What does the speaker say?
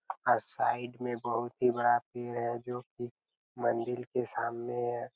अ side में बहुत ही बड़ा पेड़ है जो की मंदिल के सामने है।